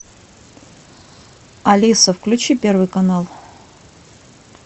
алиса включи первый канал